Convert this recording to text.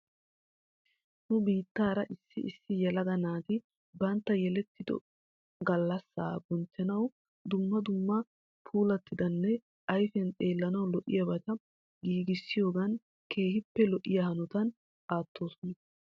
Nu biittaara issi issi yelaga naati bantta yelettido alassaa bonchchanaw dumma dumma puulattidanne ayfiyan xeellanaw lo'iyaabata giigissiyoogan keehippe lo'iyaa hanotana aattoosona.